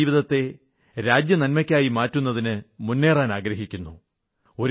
സ്വന്തം ജീവിതത്തെ രാജ്യനന്മയ്ക്കായി മാറ്റുന്നതിന് മുന്നേറാനാഗ്രഹിക്കുന്നു